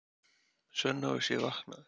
Svenna og sé vaknaður.